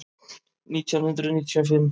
Nítján hundruð níutíu og fimm